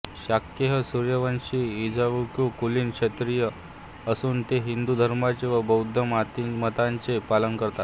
शाक्य हे सूर्यवंशी इक्ष्वाकु कुलीन क्षत्रिय असून ते हिंदू धर्माचे व बौद्ध मताचे पालन करतात